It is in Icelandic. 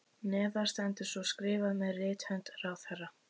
Neðar stendur svo skrifað með rithönd ráðherra